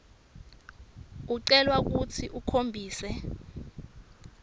ucelwa kutsi ukhombise